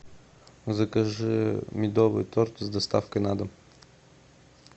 закажи медовый торт с доставкой на дом